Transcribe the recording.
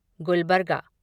Gulbarga